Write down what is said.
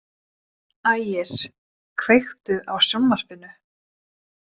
Ægir, kveiktu á sjónvarpinu.